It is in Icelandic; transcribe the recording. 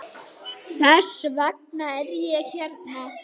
Gulstör náði mestum þroska.